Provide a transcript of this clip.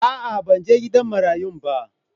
A'a, ban he gidan marayun ba.